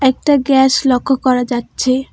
একটা গ্যাস লক্ষ্য করা যাচ্ছে।